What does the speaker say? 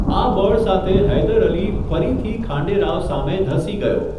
આ બળ સાથે હૈદર અલી ફરીથી ખાંડે રાવ સામે ધસી ગયો.